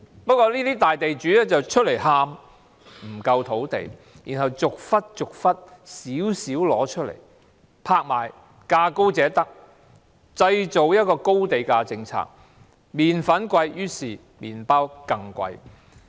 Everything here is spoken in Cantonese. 不過，這個大地主卻站出來喊不夠土地，然後逐些逐些拿出少許來拍賣，價高者得，製造高地價政策，麵粉昂貴，於是麵包更昂貴。